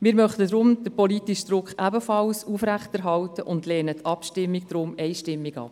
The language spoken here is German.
Wir möchten deshalb den politischen Druck aufrechterhalten und lehnen die Abschreibung einstimmig ab.